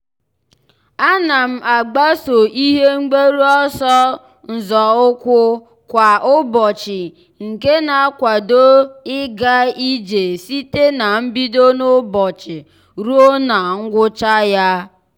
a na m agbaso ihe mgbaru ọsọ nzọụkwụ kwa ụbọchị nke na-akwado ịga ije site na mbido n'ụbọchị ruo na ngwụcha ya.